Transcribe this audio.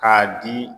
K'a di